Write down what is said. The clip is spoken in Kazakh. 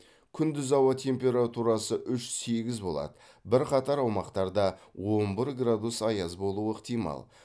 күндіз ауа температурасы үш сегіз болады бірқатар аумақтарда он бір градус аяз болуы ықтимал